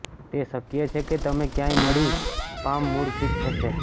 તે શક્ય છે કે તમે ક્યાંય મળી પામ મૂળ ફિટ થશે